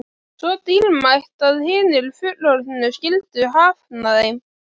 Svo dýrmætt að hinir fullorðnu skyldu hafna þeim.